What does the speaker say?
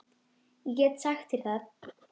Ég get sagt þér það